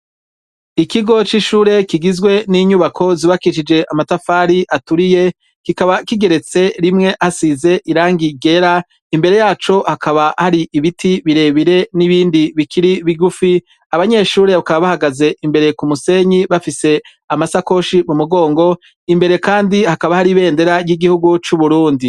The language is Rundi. Ikigo c'ishure kigizwe n'inyubako zubakishije amatafari aturiye kikaba kigeretse rimwe hasize irangi ryera, imbere yacu hakaba hari ibiti birebire n'ibindi bikiri bigufi abanyeshure hakaba bahagaze imbere ku musenyi bafise amasakoshi mu mugongo imbere kandi hakaba har’ ibendera y'igihugu c'uburundi